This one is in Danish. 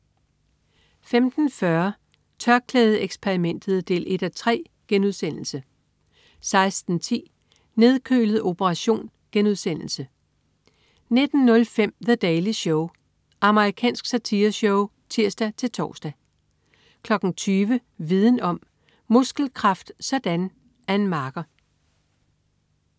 15.40 TørklædeXperimentet 1:3* 16.10 Nedkølet operation* 19.05 The Daily Show. Amerikansk satireshow (tirs-tors) 20.00 Viden Om: Muskelkraft sådan! Ann Marker